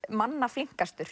manna